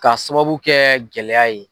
Ka sababu kɛ gɛlɛya ye.